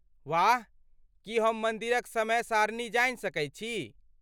वाह! की हम मन्दिरक समय सारणी जानि सकैत छी?